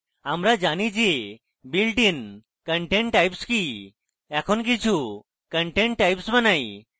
আমরা জানি যে builtin content types কি এখন কিছু custom content types বানাই